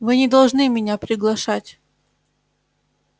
вы не должны меня приглашать